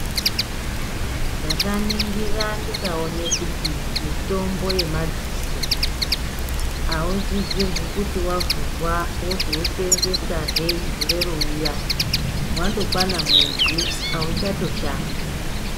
Ndakaningura ndikaona kuti mitombo yemadziso ausisirwi kuti wavhurwa wozouseenzesa he gore rouya. Wandokwana mwedzi auchatoshandi.